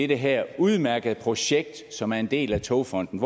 det her udmærkede projekt som er en del af togfonden